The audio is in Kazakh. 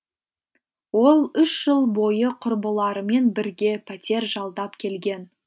ол үш жыл бойы құрбыларымен бірге пәтер жалдап келген